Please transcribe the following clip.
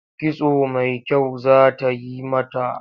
Kitso mai kyau za ta yi mata.